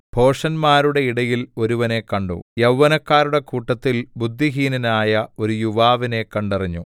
ഭോഷന്മാരുടെ ഇടയിൽ ഒരുവനെ കണ്ടു യൗവനക്കാരുടെ കൂട്ടത്തിൽ ബുദ്ധിഹീനനായ ഒരു യുവാവിനെ കണ്ടറിഞ്ഞു